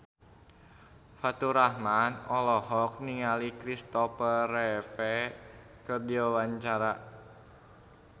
Faturrahman olohok ningali Christopher Reeve keur diwawancara